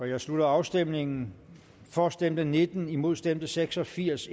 jeg slutter afstemningen for stemte nitten imod stemte seks og firs